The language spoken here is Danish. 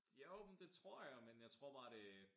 Jo men det tror jeg men jeg tror bare det